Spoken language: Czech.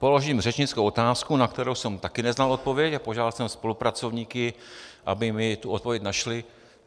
Položím řečnickou otázku, na kterou jsem také neznal odpověď, a požádal jsem spolupracovníky, aby mi tu odpověď našli.